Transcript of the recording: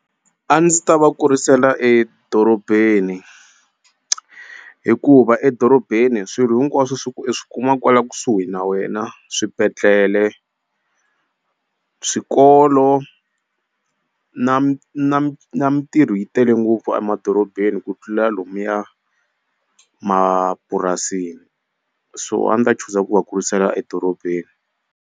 A ndzi ta va kurisela edorobeni hikuva edorobeni swilo hinkwaswo i swi kuma kwala kusuhi na wena swibedhlele swikolo na mintirho yi tele ngopfu a madorobeni ku tlula lomuya mapurasini so a ni ta chuza ku va kurisela edorobeni.